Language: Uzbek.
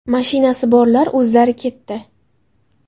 Mashinasi borlar o‘zlari ketdi.